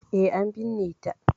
E, an binne ta.